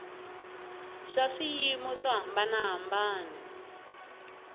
swa swiyimo swo hambana hambana